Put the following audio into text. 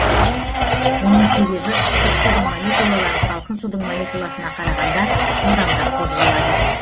оның себебі ыстық судың молекулалары салкын судың молекуласына қарағанда жылдамырақ қозғалады